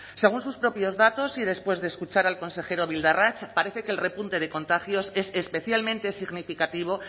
según sus propios datos y después de escuchar al consejero bildarratz parece que el repunte de contagios es especialmente significativo